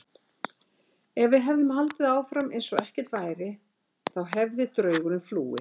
Ef við hefðum haldið áfram eins og ekkert væri, þá hefði draugurinn flúið.